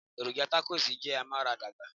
Èròjà takosì jẹ́ amaradagba.